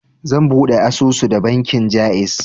Zan buɗe asusu a bankin Jaiz.